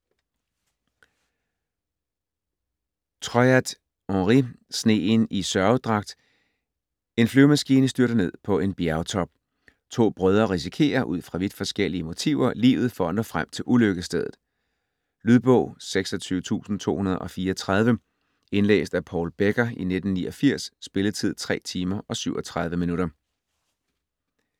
Troyat, Henri: Sneen i sørgedragt En flyvemaskine styrter ned på en bjergtop. To brødre risikerer, ud fra vidt forskellige motiver, livet for at nå frem til ulykkesstedet. Lydbog 26234 Indlæst af Paul Becker, 1989. Spilletid: 3 timer, 37 minutter.